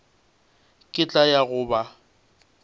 ke tla ya go ba